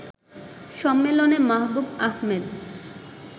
সম্মেলনে মাহবুব আহমেদ